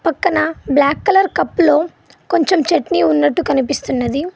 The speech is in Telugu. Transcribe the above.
పక్కన బ్లాక్ కలర్ కప్పులో కొంచెం చట్నీ ఉన్నట్టు కనిపిస్తున్నది.